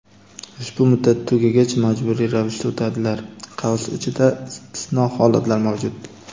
ushbu muddat tugagach majburiy ravishda o‘tadilar (istisno holatlar mavjud).